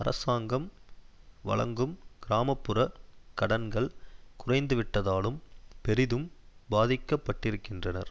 அரசாங்கம் வழங்கும் கிராம புற கடன்கள் குறைந்துவிட்டதாலும் பெரிதும் பாதிக்கப்பட்டிருக்கின்றனர்